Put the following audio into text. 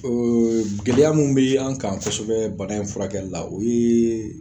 gɛlɛya min be an' kan kosɛbɛ bana in furakɛli la o yee